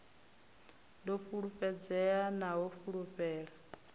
ḓo fulufhedzea na u fulufhela